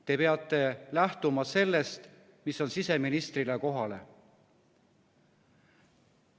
Te peate lähtuma sellest, mis on siseministrile kohane.